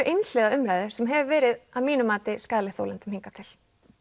einhliða umræðu sem hefur verið að mínu mati skaðleg þolendum hingað til